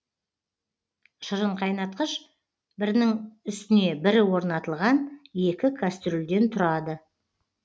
шырынқайнатқыш бірінің үстіне бірі орнатылған екі кастрюльден тұрады